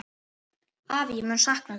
Afi, ég mun sakna þín.